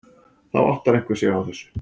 Þá áttar einhver sig á þessu.